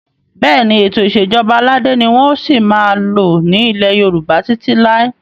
Bẹ́ẹ̀ni, Ètò ìsèjọba aládé ni wọn ò sì máa lò ní ilẹ́ Yorùbá títí lai